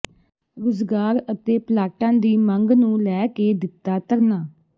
ਰੁਜ਼ਗਾਰ ਅਤੇ ਪਲਾਟਾਂ ਦੀ ਮੰਗ ਨੂੰ ਲੈ ਕੇ ਦਿੱਤਾ ਧਰਨਾ